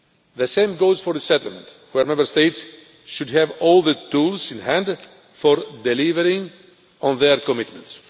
The same goes for resettlement, where Member States should have all the tools in hand for delivering on their commitments.